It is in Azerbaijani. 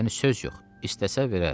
Yəni söz yox, istəsə verər.